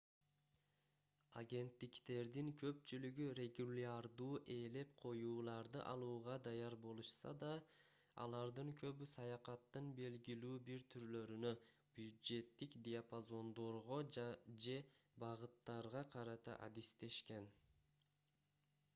агенттиктердин көпчүлүгү регулярдуу ээлеп коюуларды алууга даяр болушса да алардын көбү саякаттын белгилүү бир түрлөрүнө бюджеттик диапазондорго же багыттарга карата адистешкен